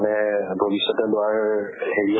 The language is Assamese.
মানে ভৱিষ্যতে লোৱাৰ হেৰি